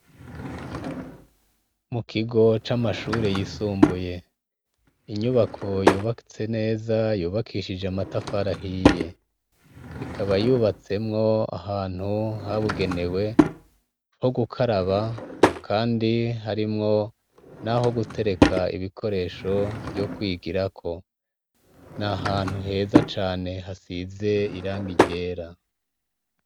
Mu kigo c'amashure yisumbuye, inyubako yubakitse neza yubakishije amatafari ahiye, ikaba yubatsemwo ahantu habugenewe ho gukaraba kandi harimwo n'aho gutereka ibikoresho vyo kwigirako, n'ahantu heza cane hasize irangi ryera.